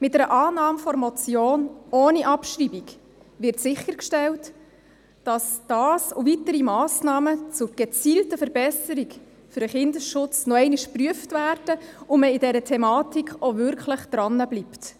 Mit einer Annahme der Motion ohne Abschreibung wird sichergestellt, dass diese und weitere Massnahmen zur gezielten Verbesserung des Kindesschutzes noch einmal geprüft werden und man an der Thematik auch wirklich dranbleibt.